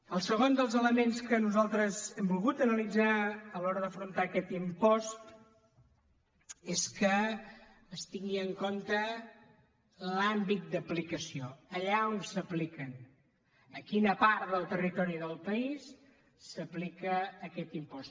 el segon dels elements que nosaltres hem volgut analitzar a l’hora d’afrontar aquest impost és que es tingui en compte l’àmbit d’aplicació allà on s’apliquen a quina part del territori del país s’aplica aquest impost